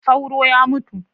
Sauro ya mutu.